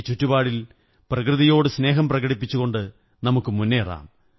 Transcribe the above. ഈ ചുറ്റുപാടിൽ പ്രകൃതിയോട് സ്നേഹം പ്രകടിപ്പിച്ചുകൊണ്ടു നമുക്കു മുന്നേറാം